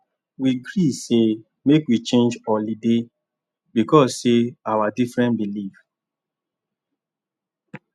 we agree say make we change holiday because say our different belief